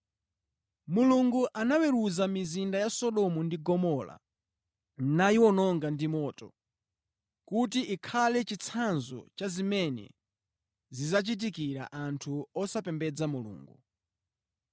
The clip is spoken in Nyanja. Mulungu anaweruza mizinda ya Sodomu ndi Gomora nayiwononga ndi moto, kuti ikhale chitsanzo cha zimene zidzachitikira anthu osapembedza Mulungu.